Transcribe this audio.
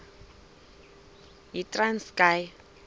yitranskayi